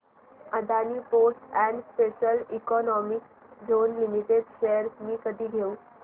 Adani ports and special economic zone limited shares मी कधी घेऊ